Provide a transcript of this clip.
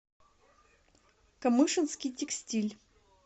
камышинский текстиль